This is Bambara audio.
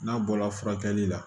N'a bɔra furakɛli la